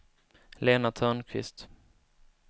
Lena Törnqvist